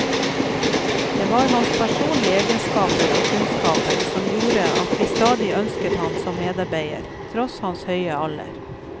Det var hans personlige egenskaper og kunnskaper som gjorde at vi stadig ønsket ham som medarbeider, tross hans høye alder.